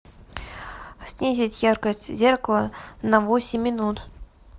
снизить яркость зеркала на восемь минут